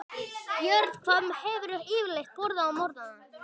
Björn: Hvað hefurðu yfirleitt borðað á morgnanna?